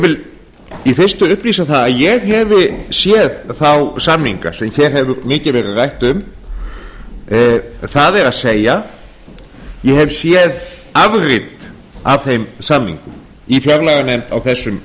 vil í fyrstu upplýsa það að ég hef séð þá samninga sem hér hefur mikið verið rætt um það er ég hef séð afrit af þeim samningum í fjárlaganefnd á þessum